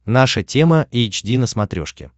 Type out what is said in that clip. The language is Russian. наша тема эйч ди на смотрешке